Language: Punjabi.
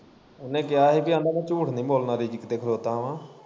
ਉਨੇ ਕਿਹਾ ਹੀ ਪੀ ਆਂਦਾ ਮੈਂ ਝੂਠ ਨੀ ਬੋਲਣਾ ਰੀਜਕ ਤੇ ਖਲੋਤਾ ਵਾ।